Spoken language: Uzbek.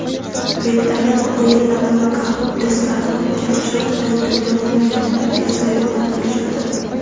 viktorina o‘yinlari va "Kahoot" testlarini o‘tkazish orqali dunyo mamlakatlariga sayohat qilishadi.